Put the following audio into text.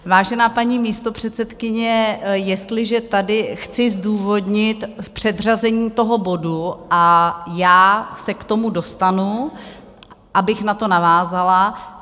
Vážená paní místopředsedkyně, jestliže tady chci zdůvodnit předřazení toho bodu, a já se k tomu dostanu, abych na to navázala.